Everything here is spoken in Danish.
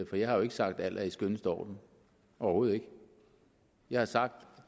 for jeg har ikke sagt at alt er i den skønneste orden overhovedet ikke jeg har sagt at